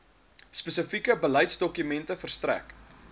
spesifieke beleidsdokumente verstrek